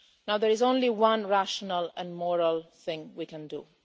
There is only one rational and moral thing we can do.